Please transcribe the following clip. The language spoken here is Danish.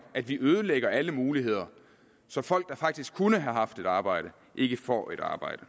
at vi ødelægger alle muligheder så folk der faktisk kunne have haft et arbejde ikke får et arbejde